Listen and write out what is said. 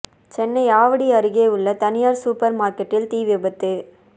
சென்னை ஆவடி அருகே உள்ள தனியார் சூப்பர் மார்க்கெட்டில் தீ விபத்து